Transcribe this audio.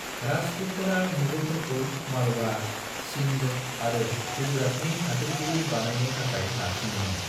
राजपुतफोरा मुगलफोरखौ मालवा, सिन्ध आरो गुजरातनि हादोरगिरि बानायनो थाखाय नारसिन्दोंमोन।